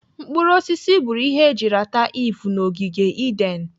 Mkpụrụ osisi bụrụ ihe eji rata Iv na ogige Eden.